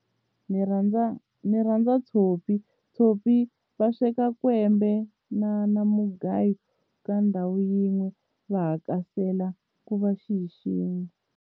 Ni rhandza ni rhandza tshopi tshopi va sweka kwembe na na mugayo ka ndhawu yin'we va hakasela ku va xi hi xin'we.